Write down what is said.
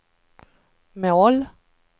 mål